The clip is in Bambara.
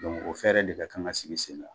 Dɔn o fɛɛrɛ de bɛ kan ka sigi sen ka.